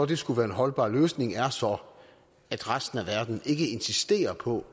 det skulle være en holdbar løsning er så at resten af verden ikke insisterer på